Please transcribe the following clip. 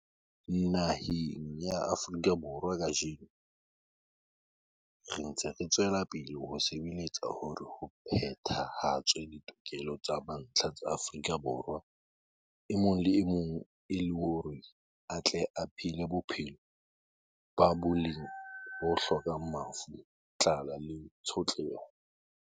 Naheng ya Afrika Borwa kajeno, re ntse re tswela pele ho sebeletsa hore ho phetha-hatswe ditokelo tsa mantlha tsa Moafrika Borwa e mong le e mong e le hore a tle a phele bophelo ba boleng bo hlokang mafu, tlala le tshotleho.